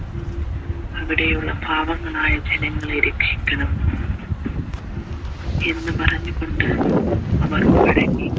അവിടെയുള്ള പാവങ്ങളായ ജനങ്ങളെ രക്ഷിക്കണം എന്ന് പറഞ്ഞുകൊണ്ട് അവർ മടങ്ങി